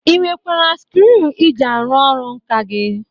Ị nwekwara skriu iji arụ ọrụ nkà gị?